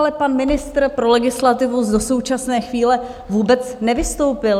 Ale pan ministr pro legislativu do současné chvíle vůbec nevystoupil.